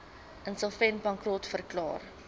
insolvent bankrot verklaar